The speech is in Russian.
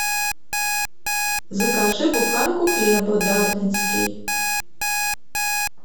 закажи буханку хлеба дарницкий